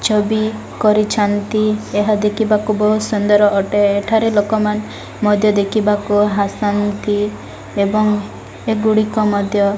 ଛବି କରିଛନ୍ତି। ଏହା ଦେଖିବାକୁ ବୋହୁତ୍ ସୁନ୍ଦର ଅଟେ। ଏଠାରେ ଲୋକମାନେ ମଧ୍ୟ ଦେଖିବାକୁ ଆସନ୍ତି । ଏବଂ ଏଗୁଡ଼ିକ ମଧ୍ୟ --